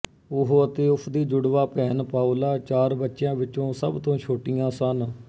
ਉਹ ਅਤੇ ਉਸ ਦੀ ਜੁੜਵਾ ਭੈਣ ਪਾਓਲਾ ਚਾਰ ਬੱਚਿਆਂ ਵਿੱਚੋਂ ਸਭ ਤੋਂ ਛੋਟੀਆਂ ਸਨ